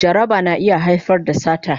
Jaraba na iya haifar da sata